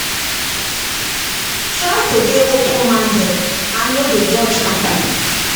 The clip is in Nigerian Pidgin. Try to dey open minded and no dey judge pipo